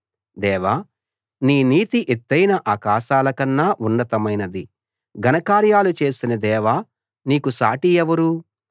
దేవా నీ నీతి ఎత్తయిన ఆకాశాలకన్నా ఉన్నతమైనది ఘన కార్యాలు చేసిన దేవా నీకు సాటి ఎవరు